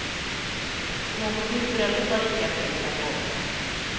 Så något nytt bröllop var icke att tänka på.